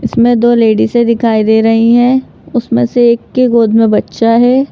इसमें दो लेडी से दिखाई दे रही हैं उसमें से एक की गोद में बच्चा है।